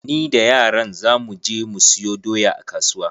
Ni da yaran za mu je mu siyo doya a kasuwa.